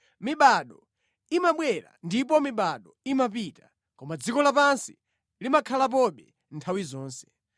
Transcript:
Mibado imabwera ndipo mibado imapita, koma dziko lapansi limakhalapobe nthawi zonse.